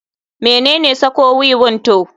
Menene sako wiwin to?